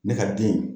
Ne ka bin